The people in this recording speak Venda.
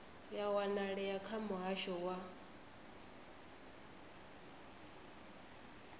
ya wanalea kha muhasho wa